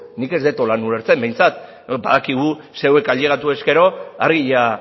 nik ez dut horrela ulertzen behintzat badakigu zeuek ailegatu ezkero argia